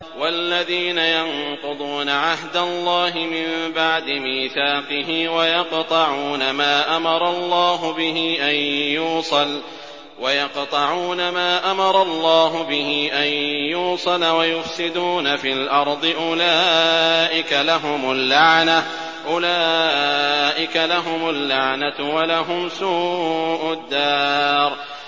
وَالَّذِينَ يَنقُضُونَ عَهْدَ اللَّهِ مِن بَعْدِ مِيثَاقِهِ وَيَقْطَعُونَ مَا أَمَرَ اللَّهُ بِهِ أَن يُوصَلَ وَيُفْسِدُونَ فِي الْأَرْضِ ۙ أُولَٰئِكَ لَهُمُ اللَّعْنَةُ وَلَهُمْ سُوءُ الدَّارِ